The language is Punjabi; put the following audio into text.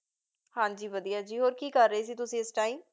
ਹਾਂ ਜੀ ਵਧੀਆ ਜੀ, ਹੋਰ ਕੀ ਕਰ ਰਹੇ ਸੀ ਤੁਸੀਂ ਇਸ time